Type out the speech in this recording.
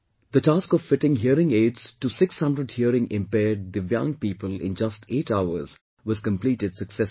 The task of fitting hearing aids to 600 hearing impaired DIVYANG people in just eight hours was completed successfully